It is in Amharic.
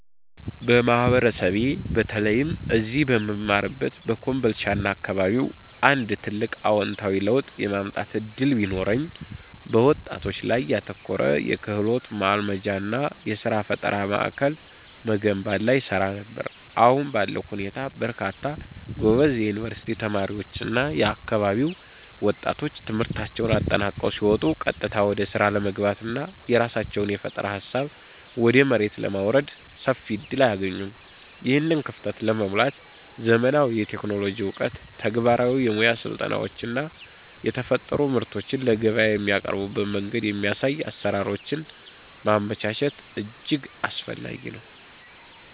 በማህበረሰቤ በተለይም እዚህ በምማርበት በኮምቦልቻና አካባቢው አንድ ትልቅ አዎንታዊ ለውጥ የማምጣት ዕድል ቢኖረኝ፣ በወጣቶች ላይ ያተኮረ የክህሎት ማልማጃና የሥራ ፈጠራ ማዕከል መገንባት ላይ እሰራ ነበር። አሁን ባለው ሁኔታ በርካታ ጎበዝ የዩኒቨርሲቲ ተማሪዎችና የአካባቢው ወጣቶች ትምህርታቸውን አጠናቀው ሲወጡ ቀጥታ ወደ ሥራ ለመግባትና የራሳቸውን የፈጠራ ሃሳብ ወደ መሬት ለማውረድ ሰፊ ዕድል አያገኙም። ይህንን ክፍተት ለመሙላት ዘመናዊ የቴክኖሎጂ ዕውቀት፣ ተግባራዊ የሙያ ስልጠናዎችና የተፈጠሩ ምርቶችን ለገበያ የሚያቀርቡበትን መንገድ የሚያሳዩ አሰራሮችን ማመቻቸት እጅግ አስፈላጊ ነው።